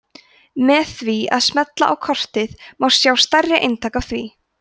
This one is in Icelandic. með því að smella á kortið má sjá stærri eintak af því